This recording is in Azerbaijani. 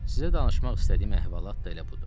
Sizə danışmaq istədiyim əhvalat da elə budur.